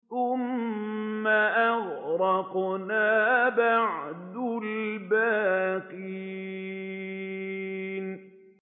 ثُمَّ أَغْرَقْنَا بَعْدُ الْبَاقِينَ